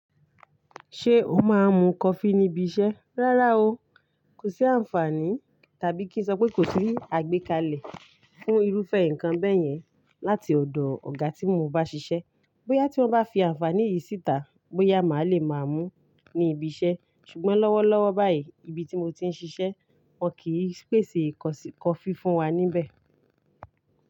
Ṣé o máa ń mu coffee níbi iṣẹ́? Rárá o. Kò sí àǹfààní tàbí kí n sọ pé kò sí àgbékalẹ̀ fún irúfẹ́ nǹkan bẹ́yẹn láti ọ̀dọ̀ ọ̀gá tí mo bá ṣiṣẹ́. Bóyá tí wọ́n bá fi àǹfààní yìí síta, bóyá màá le máa mú níbi iṣẹ́. Ṣùgbọ́n lọ́wọ́lọ́wọ́ báyìí, ibi tí mo ti ń ṣiṣẹ́ wọ́n kì í pèsè coffee fún wa níbẹ̀.